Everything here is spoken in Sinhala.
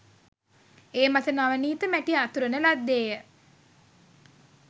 ඒ මත නවනීත මැටි අතුරන ලද්දේ ය